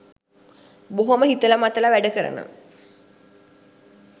බොහොම හිතල මතල වැඩ කරන